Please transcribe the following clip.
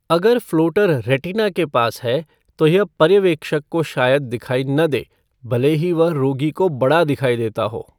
अगर floater retina के पास है, तो यह पर्यवेक्षक को शायद दिखाई न दे, भले ही वह रोगी को बड़ा दिखाई देता हो।